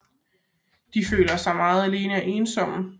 De føler sig meget alene og ensomme